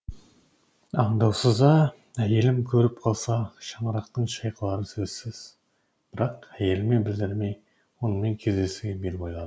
аңдаусызда әйелім көріп қалса шаңырақтың шайқалары сөзсіз бірақ әйеліме білдірмей онымен кездесуге бел байладым